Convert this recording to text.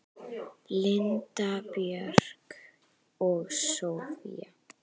Linda Björk og Soffía.